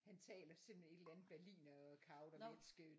Han taler simpelthen et eller andet berlinerkaudervælsk øh